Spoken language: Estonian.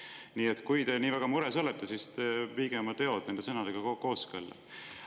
Nii et kui te nii väga mures olete, siis te viige oma sõnad tegudega kooskõlla.